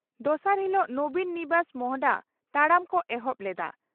ᱫᱚᱥᱟᱨ ᱦᱤᱞᱚᱜ 'ᱱᱚᱵᱤᱱ ᱱᱤᱵᱟᱥ' ᱢᱚᱦᱰᱟ ᱛᱟᱲᱟᱢ ᱠᱚ ᱮᱦᱚᱵ ᱞᱮᱫᱼᱟ